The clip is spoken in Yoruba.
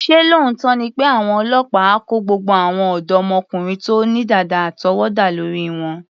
Ṣé lóòótọ́ ni pé àwọn ọlọ́pàá á kó gbogbo àwọn ọ̀dọ́mọkùnrin tó ní dàda àtọwọ́dá lórí wọn?